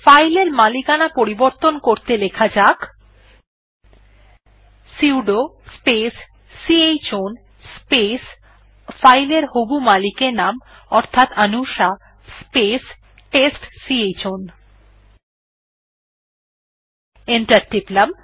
file এর মালিকানা পরিবর্তন করতে লেখা যাক সুদো স্পেস c হ্ আউন স্পেস ফাইল এর হবু মালিকের নাম অর্থাৎ অনুষা স্পেস টেস্টচাউন অর্থাৎ t e s t c h o w ন